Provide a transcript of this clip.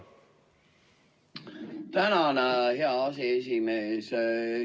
Tänan, hea aseesimees!